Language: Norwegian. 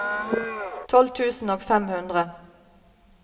tolv tusen og fem hundre